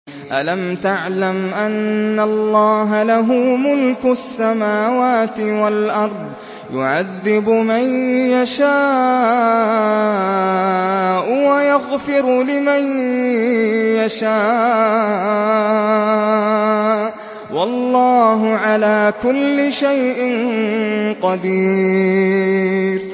أَلَمْ تَعْلَمْ أَنَّ اللَّهَ لَهُ مُلْكُ السَّمَاوَاتِ وَالْأَرْضِ يُعَذِّبُ مَن يَشَاءُ وَيَغْفِرُ لِمَن يَشَاءُ ۗ وَاللَّهُ عَلَىٰ كُلِّ شَيْءٍ قَدِيرٌ